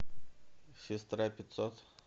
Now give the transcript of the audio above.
сестра пятьсот